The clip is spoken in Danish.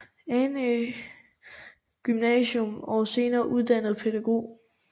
Annæ Gymnasium og senere uddannet pædagog